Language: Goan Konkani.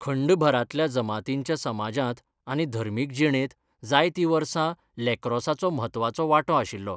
खंडभरांतल्या जमातींच्या समाजांत आनी धर्मीक जिणेंत जायतीं वर्सां लॅक्रोसाचो म्हत्वाचो वांटो आशिल्लो.